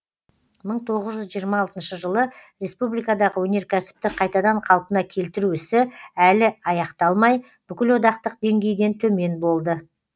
мың тоғыз жүз жиырма алтыншы жылы республикадағы өнеркәсіпті қайтадан калпына келтіру ісі әлі аяқталмай бүкілодақтық деңгейден төмен болды